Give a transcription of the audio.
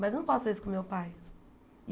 Mas eu não posso fazer isso com meu pai.